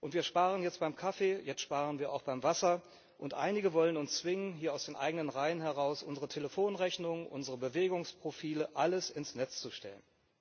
Wir sparen jetzt beim Kaffee, jetzt sparen wir auch beim Wasser, und einige wollen uns zwingen, hier aus den eigenen Reihen heraus, unsere Telefonrechnung, unsere Bewegungsprofile, alles ins Netz zu stellen.